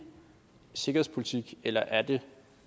sikkerhedspolitik eller er det